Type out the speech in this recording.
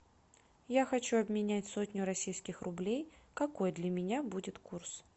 я хочу обменять сотню российских рублей какой для меня будет курс